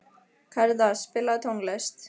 Karítas, spilaðu tónlist.